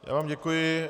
Já vám děkuji.